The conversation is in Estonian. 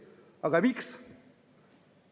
Aga miks?